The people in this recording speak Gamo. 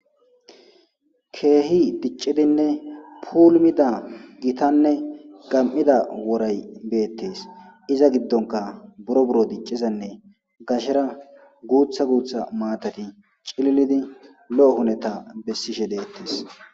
Kehi dicidinne pulumidda woray bettes iza gidonkka buro buro diciza guththa guththa maatay cillid lo"o hineta besishshe bettes